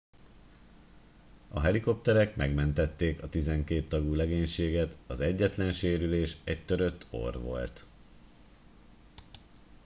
a helikopterek megmentették a tizenkét tagú legénységet az egyetlen sérülés egy törött orr volt